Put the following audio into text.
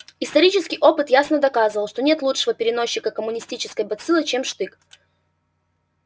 исторический опыт ясно доказывал что нет лучшего переносчика коммунистической бациллы чем штык